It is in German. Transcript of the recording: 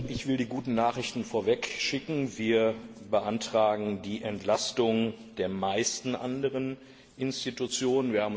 Ich will die guten Nachrichten vorwegschicken Wir beantragen die Entlastung der meisten anderen Institutionen.